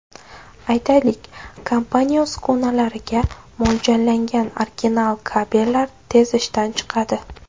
Aytaylik, kompaniya uskunalariga mo‘ljallangan original kabellar tez ishdan chiqadi.